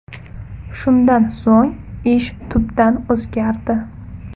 Shundan so‘ng ish tubdan o‘zgardi.